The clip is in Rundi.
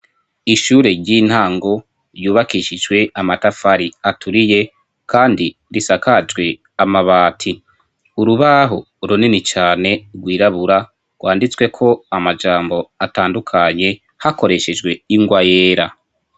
ishure ry'intango ryubakishijwe amatafari aturiye kandi risakajwe amabati urubaho urunini cane rwirabura rwanditsweko amajambo atandukanye hakoreshejwe ingwa yera